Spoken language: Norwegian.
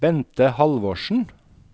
Bente Halvorsen